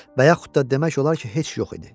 Və yaxut da demək olar ki, heç yox idi.